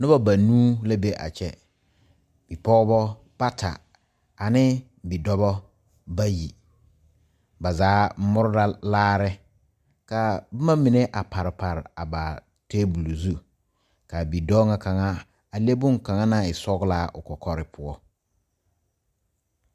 Noba banuu la be a kyɛ bipɔgeba bata ane bidɔba bayi ba zaa more la laare ka boma mine a pare pare a ba tabol zu k,a bidɔɔ ŋa kaŋa a le bonkaŋa naŋ e sɔglaa o kɔkɔre poɔ.